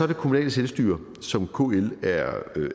det kommunale selvstyre som kl